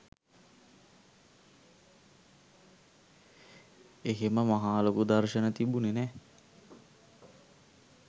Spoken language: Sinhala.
එහෙම මහා ලොකු දර්ශන තිබුණේ නෑ.